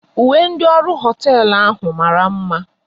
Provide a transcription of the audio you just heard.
Uwe ndị ọrụ hoteelu ahụ mara mma